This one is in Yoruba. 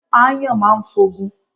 Ááyàn máa ń f'ogun.